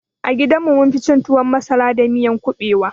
A gidan mu munfi cin tuwon masara da miyan kuɓewa